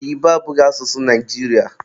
Oyibo abụghị asụsụ Naijiria